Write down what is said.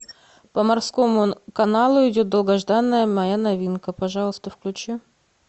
по морскому каналу идет долгожданная моя новинка пожалуйста включи